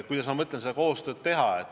Kuidas ma mõtlen seda koostööd teha?